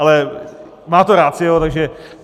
Ale má to ratio, takže...